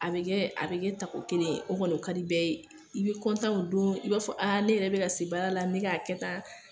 A bɛ kɛ a bɛ kɛ tago kelen ye o kɔni o ka di bɛɛ ye, i bɛ kɔntan o don i b'a fɔ ne yɛrɛ bɛ ka se baara la n bɛ k'a kɛ tan